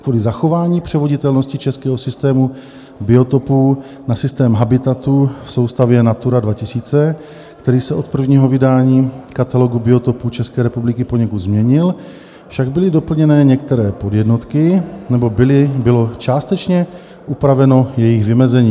Kvůli zachování převoditelnosti českého systému biotopů na systém habitatů v soustavě Natura 2000, který se od prvního vydání Katalogu biotopů České republiky poněkud změnil, však byly doplněny některé podjednotky, nebo bylo částečně upraveno jejich vymezení.